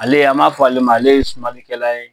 Ale an b'a fɔ ale ma ale ye sumanlikɛla ye.